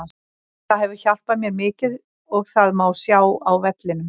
Það hefur hjálpað mér mikið og það má sjá á vellinum.